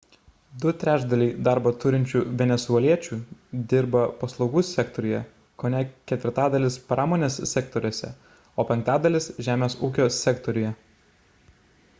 du trečdaliai darbą turinčių venesueliečių dirba paslaugų sektoriuje kone ketvirtadalis – pramonės sektoriuose o penktadalis – žemės ūkio sektoriuje